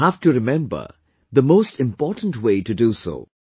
You have to remember the most important way to do so